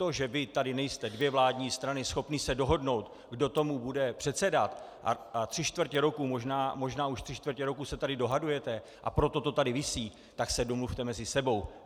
To, že vy tady nejste, dvě vládní strany, schopni se dohodnout, kdo tomu bude předsedat, a tři čtvrtě roku, možná už tři čtvrtě roku se tady dohadujete, a proto to tady visí - tak se domluvte mezi sebou.